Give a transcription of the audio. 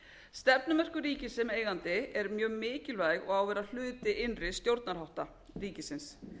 stefnumörkun ríkisins sem eigandi er mjög mikilvæg og á að vera hluti innri stjórnarhátta ríkisins